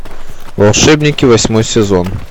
волшебники восьмой сезон